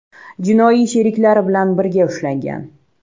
jinoiy sheriklari bilan birga ushlangan.